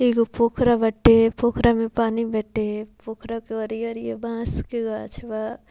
एगो पोखरा बाटे पोखरा में पानी बेटे पोखरा के अरिये-अरिये बांस के गाछ बा।